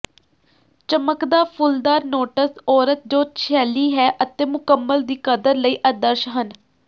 ਚਮਕਦਾ ਫੁੱਲਦਾਰ ਨੋਟਸ ਔਰਤ ਜੋ ਸ਼ੈਲੀ ਹੈ ਅਤੇ ਮੁਕੰਮਲ ਦੀ ਕਦਰ ਲਈ ਆਦਰਸ਼ ਹਨ